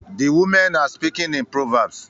The women are speaking in proverbs